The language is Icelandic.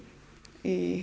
í